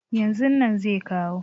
yanzu nan zai kawo